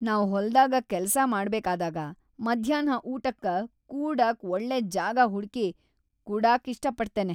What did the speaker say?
ನಾವ್ ಹೊಲದಾಗ ಕೆಲಸಾ ಮಾಡಬೇಕಾದಾಗ ಮಧ್ಯಾನ್ಹ ಊಟಕ್ಕ ಕೂಡಾಕ್ ಒಳ್ಳೆ ಜಾಗ ಹುಡುಕಿ ಕುಡಾಕ್ ಇಷ್ಟಪಡ್ತೇನೆ.